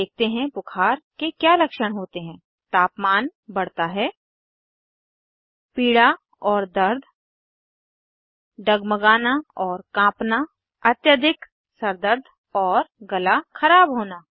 अब देखते हैं बुखार के क्या लक्षण होते हैं तापमान बढ़ता है पीड़ा और दर्द डगमगाना और काँपना अत्यधिक सरदर्द और गला ख़राब होना